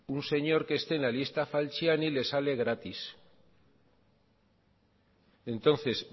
un señor que esté en la lista falciani le sale gratis entonces